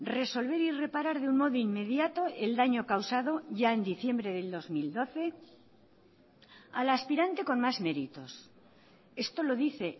resolver y reparar de un modo inmediato el daño causado ya en diciembre del dos mil doce a la aspirante con más meritos esto lo dice